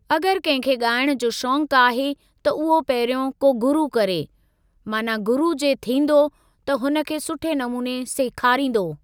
अगरि कंहिं खे ॻाइण जो शौक आहे त उहो पहिरियों को गुरू करे, माना गुरू जे थींदो त हुन खे सुठे नमूने सिखारींदो।